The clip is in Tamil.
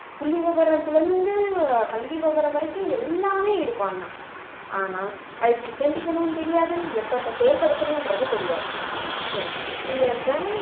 புள்ளி விவரத்துல இருந்து பள்ளி விவரம் வரைக்கும் எல்லாமே இருக்கும் ஆனா ஆனா அது தெரியாது எப்பப்ப செயல்படுத்தணுன்றது தெரியாது so இந்த வேலை